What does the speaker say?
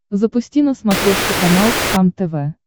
запусти на смотрешке канал кхлм тв